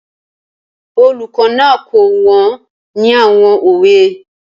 Olùkọ́ náà kọ́ wọn ní àwọn òwe.